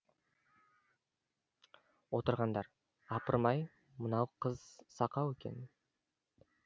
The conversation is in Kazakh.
отырғандар апырмай мынау қыз сақау екен